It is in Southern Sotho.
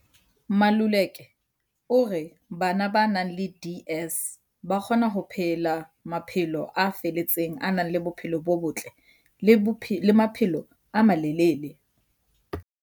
Maluleka o re bana ba nang le DS ba kgona ho phela maphelo a felletseng, a nang le bophelo bo botle le maphelo a malele.